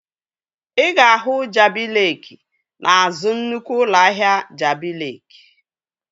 Ị ga-ahụ Jabi Leeki n'azụ nnukwu ụlọ ahịa Jabi Leeki